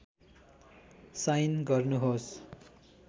sign गर्नुहोस्